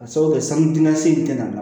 Ka sababu kɛ sanu damase na